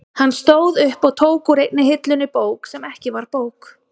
Hann stóð upp og tók úr einni hillunni bók sem ekki var bók.